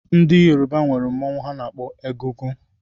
Ndị Yoruba na-eti mọnwụ a na-akpọ egungun